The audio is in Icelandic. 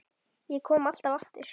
Ég kom alltaf aftur.